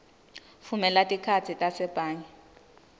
vumela tikhatsi tasebhange